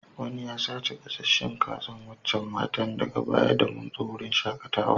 Wanni ya sace gasasen Kazan wacacan matan daga baya da mun zo wanan wurin shakatawan.